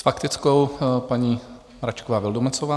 S faktickou paní Mračková Vildumetzová.